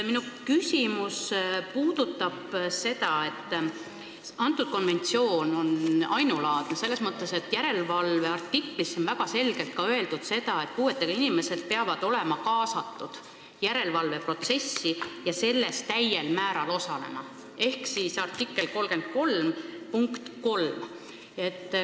See konventsioon on ainulaadne selles mõttes, et järelevalveartiklis on väga selgelt öeldud ka seda, et puuetega inimesed peavad olema kaasatud järelevalveprotsessi ja selles täiel määral osalema .